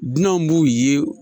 Dunanw b'u ye